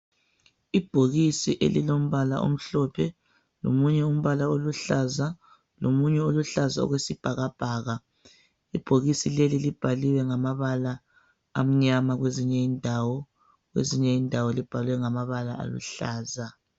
Ibhokisi elilombala omhlophe lomunye umbala oluhlaza lomunye oluhlaza okwesibhakabhaka ibhokisi leli libhaliwe ngamabala amnyama kwezinye indawo kwezinye indawo libhalwe ngamabala aluhlaza